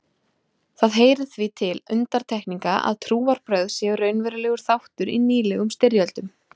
Það heyrir því til undantekninga að trúarbrögð séu raunverulegur þáttur í nýlegum styrjöldum.